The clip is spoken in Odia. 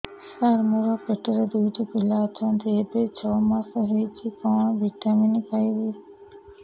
ସାର ମୋର ପେଟରେ ଦୁଇଟି ପିଲା ଅଛନ୍ତି ଏବେ ଛଅ ମାସ ହେଇଛି କଣ ଭିଟାମିନ ଖାଇବି